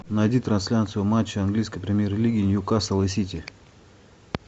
найди трансляцию матча английской премьер лиги ньюкасл и сити